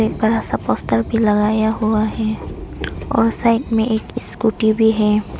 बड़ा सा पोस्ट भी लगाया हुआ है और साइड में एक स्कूटी भी है।